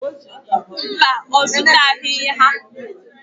Mba, ọ zụtaghị ha.